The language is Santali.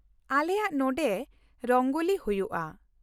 ᱟᱞᱮᱭᱟᱜ ᱱᱚᱸᱰᱮ ᱨᱚᱝᱜᱚᱞᱤ ᱦᱩᱭᱩᱜᱼᱟ ᱾